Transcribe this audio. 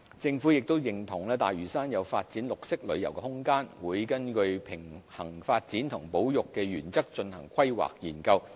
政府亦認同大嶼山有發展綠色旅遊的空間，並會根據平衡發展和保育的原則進行規劃研究。